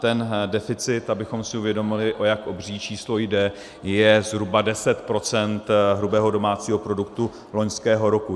Ten deficit, abychom si uvědomili, o jak obří číslo jde, je zhruba 10 % hrubého domácího produktu loňského roku.